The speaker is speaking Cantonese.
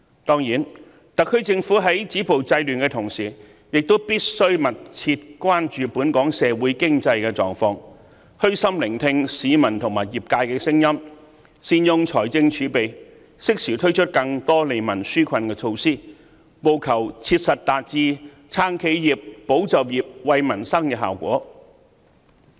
當然，特區政府在止暴制亂的同時，亦必須密切關注本港社會經濟狀況，虛心聆聽市民及業界的聲音，善用財政儲備，適時推出更多利民紓困的措施，務求切實達至"撐企業"、"保就業"、"惠民生"的效果。